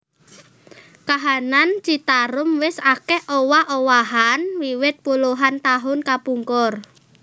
Kahanan Citarum wis akèh owah owahan wiwit puluhan taun kapungkur